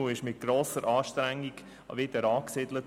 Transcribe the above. Mit grosser Anstrengung wurde er wieder angesiedelt.